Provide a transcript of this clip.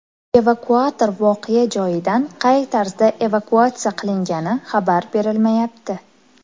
Evakuator voqea joyidan qay tarzda evakuatsiya qilingani xabar berilmayapti.